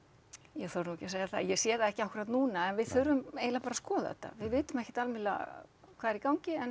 ég þori nú ekki að segja það ég sé það ekki akkúrat núna en við þurfum bara að skoða þetta við vitum ekkert almennilega hvað er í gangi en